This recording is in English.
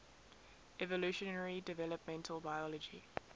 evolutionary developmental biology